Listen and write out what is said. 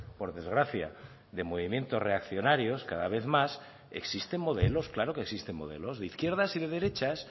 por desgracia de movimientos reaccionarios cada vez más existen modelos claro que existen modelos de izquierdas y de derechas